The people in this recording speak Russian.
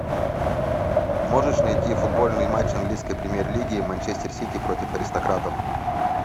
можешь найти футбольный матч английской премьер лиги манчестер сити против аристократов